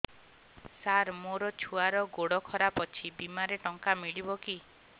ସାର ମୋର ଛୁଆର ଗୋଡ ଖରାପ ଅଛି ବିମାରେ ଟଙ୍କା ମିଳିବ କି